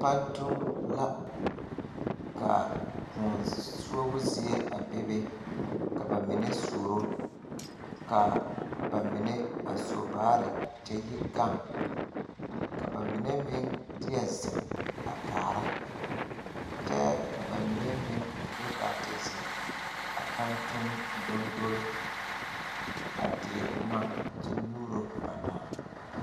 Pantuŋ la ka koɔ suobo zie a bebe ka ba mine suoro ka ba mine a so baare kyɛ yi gaŋ ka ba mine meŋ deɛ zeŋ a kaara kyɛ ka ba mine meŋ do gaa te zeŋ a pantuŋ dondole a dire boma kyɛ nyuuro ba daa.